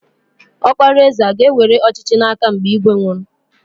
Ọkpara eze aga ewere ọchịchị n'aka mgbe ígwè nwụrụ?